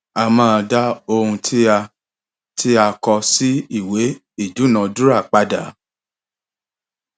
a máa da ohun tí a tí a kọ sí ìwé ìdúnadúrà padà